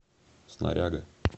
снаряга